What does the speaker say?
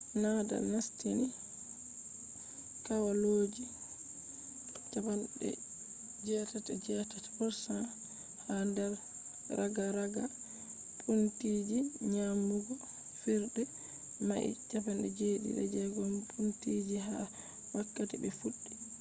nadal nastini kwalloji 88% ha nder ragaraga pointiji nyamugo fijirde mai 76 pointiji ha wakkati be fuddi